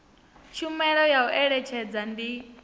tshumelo ya u eletshedza ndi